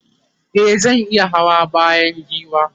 e zan iya Hawa bayan giwa